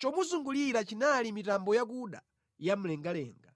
chomuzungulira chinali mitambo yakuda ya mlengalenga.